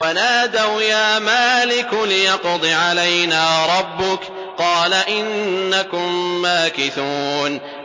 وَنَادَوْا يَا مَالِكُ لِيَقْضِ عَلَيْنَا رَبُّكَ ۖ قَالَ إِنَّكُم مَّاكِثُونَ